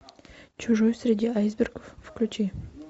чужой среди айсбергов включи